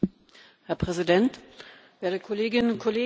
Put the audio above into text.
Herr Präsident, werte Kolleginnen und Kollegen!